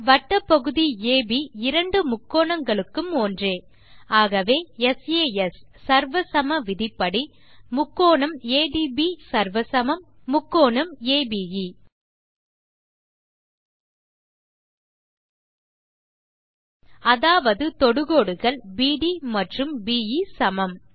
வட்டப் பகுதி அப் இரண்டு முக்கோணங்களுக்கும் ஒன்றே ஆகவே சாஸ் சர்வ சம விதிப்படி △ADB ≅ △ABE அதாவது தொடுகோடுகள் பிடி மற்றும் பே சமம்